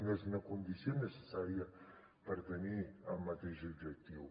no és una condició necessària per tenir el mateix objectiu